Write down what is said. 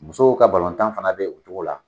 Musow ka balɔntan fana be o cogo la.